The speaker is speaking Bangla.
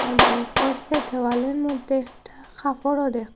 দেওয়ালের মদ্যে একটা কাপড়ও দেকতে--